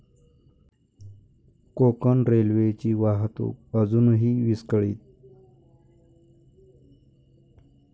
कोकण रेल्वेची वाहतूक अजूनही विस्कळीत